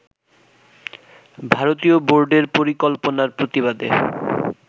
ভারতীয় বোর্ডের পরিকল্পনার প্রতিবাদে